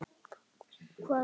Hvaða umboð?